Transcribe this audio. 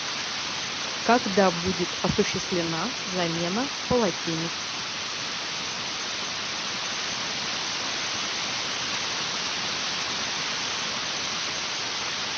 когда будет осуществлена замена полотенец